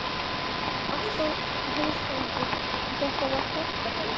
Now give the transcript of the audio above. Alltaf hálfrökkur því þetta var kjallaraíbúð.